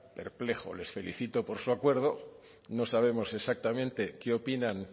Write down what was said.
perplejo les felicito por su acuerdo no sabemos exactamente qué opinan